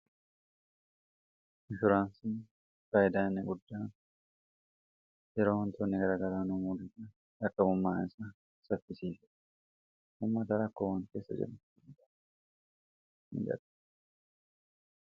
infuraansii faayidaa ie guddaa yeroo han toonne garagaraa noomuudada akqabummaa isaa saffisiif ummaa dara akkoo wan keessa jedu in gade